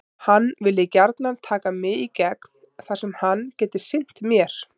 Hann vilji gjarnan taka mig í gegn þar sem hann geti sinnt mér.